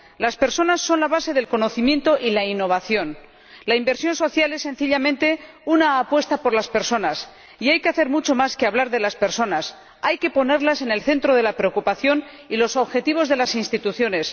Las personas son la base del conocimiento y la innovación. La inversión social es, sencillamente, una apuesta por las personas y hay que hacer mucho más que hablar de las personas, hay que ponerlas en el centro de la preocupación y de los objetivos de las instituciones.